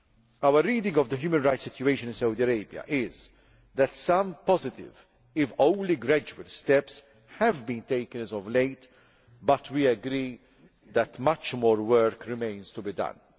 Our reading of the human rights situation in Saudi Arabia is that some positive, if only gradual, steps have been taken as of late, but we agree that much more work remains to be done.